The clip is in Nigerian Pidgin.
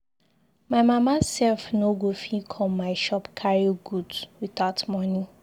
My mama sef no go fit come my shop carry goods without money.